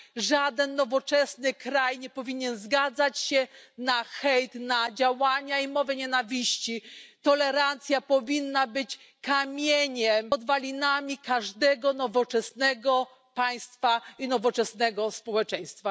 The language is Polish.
Żaden nowoczesny kraj nie powinien zgadzać się na hejt, na działania i mowę nienawiści. Tolerancja powinna być kamieniem węgielnym każdego nowoczesnego państwa i nowoczesnego społeczeństwa.